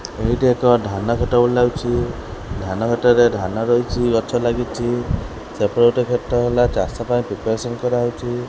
ଏଇଟି ଏକ ଧାନ କ୍ଷେତ ଭଳି ଲାଗୁଚି। ଧାନ କ୍ଷେତରେ ଧାନ ରହିଚି ଗଛ ଲାଗିଚି। ସେପଟେ ଗୋଟେ କ୍ଷେତ ହେଲା ଚାଷ ପାଇଁ ପ୍ରିପାରେସନ କରାହୋଉଚି।